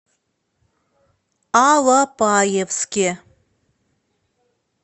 алапаевске